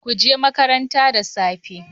Kuje makaranta da safe.